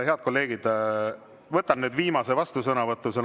Head kolleegid, võtan nüüd viimase vastusõnavõtu.